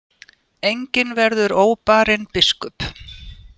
Enginn verður óbarinn biskup.